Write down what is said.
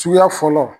Suguya fɔlɔ